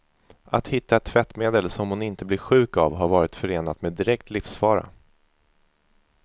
Att hitta ett tvättmedel som hon inte blir sjuk av har varit förenat med direkt livsfara.